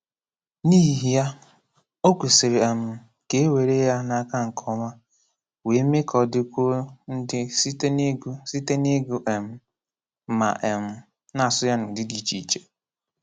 N’ihi ya, ọ̀ kwesị̀rị̀ um ka e were ya n’aka nke ọma, wee mee ka ọ dịkwuo ndị site n’ịgụ site n’ịgụ um ma um na-asụ ya n'ụ̀dị̀ dị iche iche.